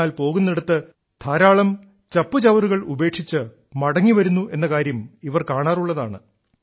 എന്നാൽ പോകുന്നിടത്ത് ധാരാളം ചപ്പുചവറുകൾ ഉപേക്ഷിച്ചിട്ട് മടങ്ങിവരുന്നു എന്ന കാര്യം ഇവർ കാണാറുള്ളതാണ്